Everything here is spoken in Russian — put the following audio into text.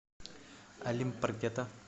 олимп паркета